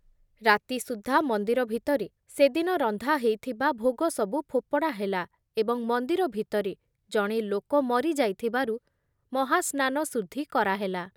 ରାତି ସୁଦ୍ଧା ମନ୍ଦିର ଭିତରେ ସେଦିନ ରନ୍ଧା ହେଇଥିବା ଭୋଗ ସବୁ ଫୋପଡ଼ା ହେଲା ଏବଂ ମନ୍ଦିର ଭିତରେ ଜଣେ ଲୋକ ମରି ଯାଇଥିବାରୁ ମହାସ୍ନାନ ଶୁଦ୍ଧି କରାହେଲା ।